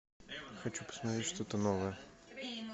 хочу посмотреть что то новое